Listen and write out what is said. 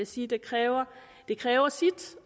sit det kræver det kræver